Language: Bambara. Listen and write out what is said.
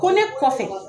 Ko ne kɔfɛ